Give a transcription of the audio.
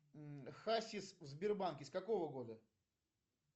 хасис в сбербанке с какого года